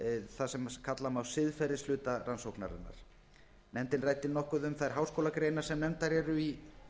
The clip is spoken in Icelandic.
það sem má kalla siðferðishluta rannsóknarinnar nefndin ræddi nokkuð um þær háskólagreinar sem nefndar eru í